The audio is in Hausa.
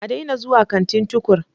A daina zuwa kantin Tukur!